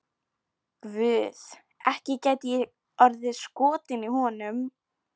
Guð, ekki gæti ég orðið skotin í honum.